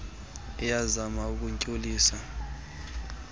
osts iyazama ukuntshulisa